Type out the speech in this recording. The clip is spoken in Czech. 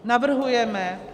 Navrhujeme -